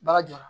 Baga jɔra